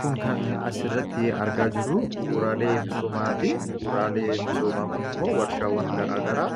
Kun kan as irratti argaa jiru bu'uuraalee misoomaati. Bu'uuraalee misoomaa kun immoo warshaawwan garaa garaa